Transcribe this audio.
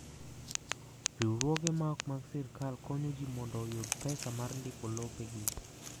Riwruoge ma ok mag sirkal konyo ji mondo oyud pesa mar ndiko lopegi.